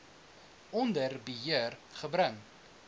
onder beheer gebring